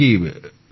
নিশ্চয় করে স্যর